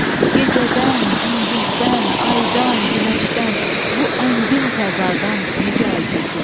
gecədən, gündüzdən, aydan, günəşdən, bu əngin fəzadan necə əl çəkim?